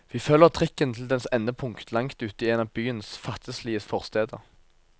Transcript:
Vi følger trikken til dens endepunkt langt ute i en av byens fattigslige forsteder.